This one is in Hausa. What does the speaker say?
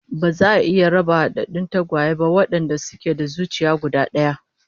Ba za a iya raba hadaddun tagwaye ba wadanda suke da zuciya guda daya